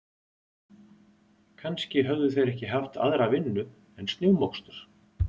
Kannski höfðu þeir ekki haft aðra vinnu en snjómokstur.